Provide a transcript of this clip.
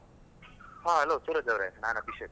ಹಾ hello ಸೂರಜ್ ಅವ್ರೆ, ನಾನ್ ಅಭಿಷೇಕ್.